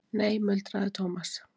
Nei muldraði Thomas.